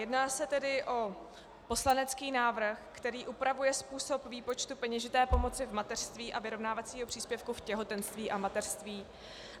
Jedná se tedy o poslanecký návrh, který upravuje způsob výpočtu peněžité pomoci v mateřství a vyrovnávacího příspěvku v těhotenství a mateřství.